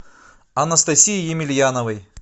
анастасии емельяновой